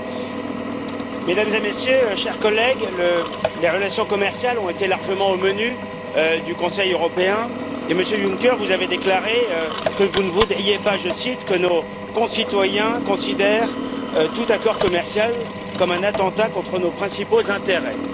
Monsieur le Président, Mesdames et Messieurs, chers collègues, les relations commerciales ont largement figuré au menu du Conseil européen. Monsieur Juncker, vous avez déclaré que vous ne voudriez pas, je cite, que nos concitoyens considèrent tout accord commercial comme un attentat contre nos principaux intérêts.